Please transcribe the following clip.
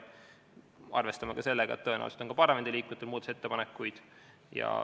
Me arvestame sellega, et tõenäoliselt on ka parlamendiliikmetel muudatusettepanekuid.